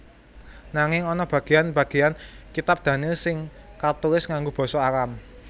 Nanging ana bagéyan bagéyan kitab Daniel sing katulis nganggo basa Aram